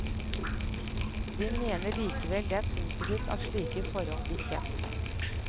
De mener likevel det er positivt at slike forhold blir kjent.